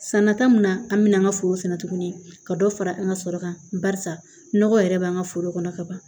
San nata mun na an mina an ga foro sɛnɛ tuguni ka dɔ fara an ga sɔrɔ kan barisa nɔgɔ yɛrɛ b'an ka foro kɔnɔ kaban